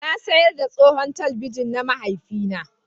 Na sayar da tsohon talabijin na mahaifina